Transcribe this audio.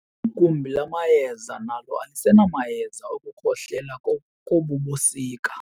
Igumbi lamayeza nalo alisenamayeza okukhohlela kobu busika.